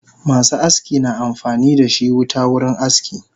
Masu aski na amfanidashi wuta wurin aski